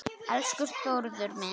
Elsku Þórður minn.